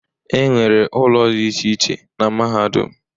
E nwere ụlọ dị iche iche na mahadum.